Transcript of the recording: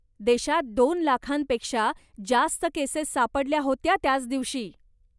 देशात दोन लाखांपेक्षा जास्त केसेस सापडल्या होत्या त्याच दिवशी.